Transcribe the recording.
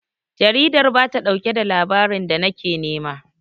Jaridar ba ta ɗauke da labarin da nake nema.